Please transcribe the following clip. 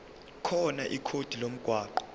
khona ikhodi lomgwaqo